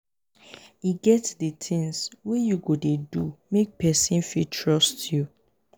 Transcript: e get di tins wey you go dey do make pesin fit trust you.